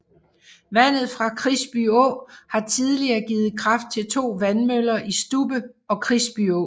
Vandet fra Krisby Å har tidligere givet kraft til to vandmøller i Stubbe og Krisbyå